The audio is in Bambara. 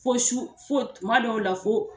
Fo su fo kuma dɔw la fo.